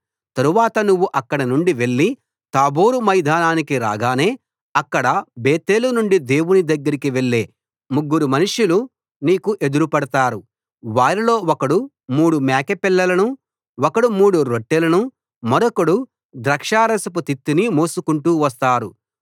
తరువాత నువ్వు అక్కడి నుండి వెళ్లి తాబోరు మైదానానికి రాగానే అక్కడ బేతేలు నుండి దేవుని దగ్గరకి వెళ్లే ముగ్గురు మనుషులు నీకు ఎదురుపడతారు వారిలో ఒకడు మూడు మేకపిల్లలను ఒకడు మూడు రొట్టెలను మరొకడు ద్రాక్షారసపు తిత్తిని మోసుకుంటూ వస్తారు